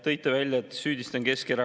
Tõite välja, et süüdistan Keskerakonda.